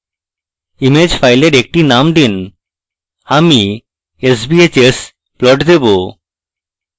image file একটি name দিন আমি sbhsplot দেবো